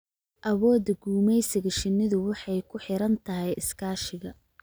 Awoodda gumeysiga shinnidu waxay ku xiran tahay iskaashiga.